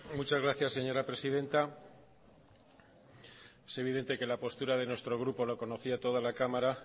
muchas gracias señora presidenta es evidente que la postura de nuestro grupo lo conocía toda la cámara